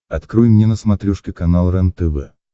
открой мне на смотрешке канал рентв